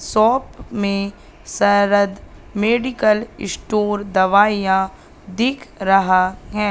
Shop में Sharad medical store दवाइयां दिख रहा है।